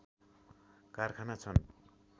कारखाना छन्